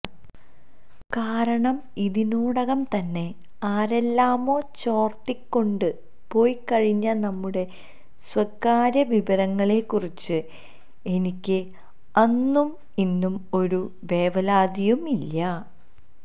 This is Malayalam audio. കാരണം ഇതിനോടകം തന്നെ ആരെല്ലാമോ ചോര്ത്തിക്കൊണ്ട് പോയിക്കഴിഞ്ഞ നമ്മുടെ സ്വകാര്യ വിവരങ്ങളെക്കുറിച്ച് എനിക്ക് അന്നും ഇന്നും ഒരു വേവലാതിയും ഇല്ല